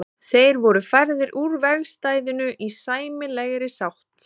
Þeir voru færðir úr vegstæðinu í sæmilegri sátt.